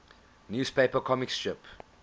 newspaper comic strip